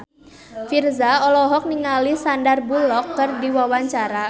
Virzha olohok ningali Sandar Bullock keur diwawancara